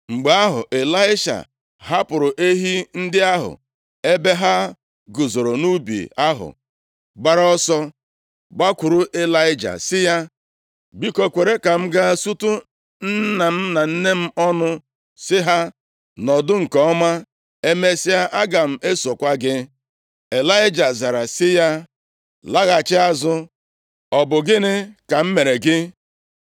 Mgbe ahụ, Ịlaisha hapụrụ ehi ndị ahụ ebe ha guzoro nʼubi ahụ gbara ọsọ gbakwuru Ịlaịja sị ya, “Biko, kwere ka m gaa sutu nna m na nne m ọnụ, sị ha nọdụ nke ọma. Emesịa, aga m esokwa gị.” Ịlaịja zara sị ya, “Laghachi azụ, ọ bụ gịnị ka m mere gị?”